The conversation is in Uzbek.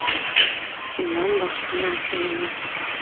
Bundan boshqa narsa emas.